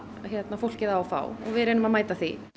fólkið á að fá og við reynum að mæta því